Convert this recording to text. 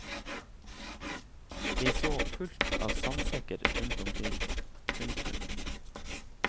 Jeg så fullt av sandsekker rundt omkring. punktum